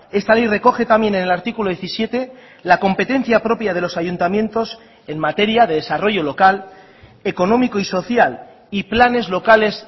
esta ley recoge también en el artículo diecisiete la competencia propia de los ayuntamientos en materia de desarrollo local económico y social y planes locales